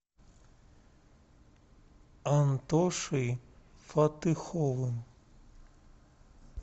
антошей фатыховым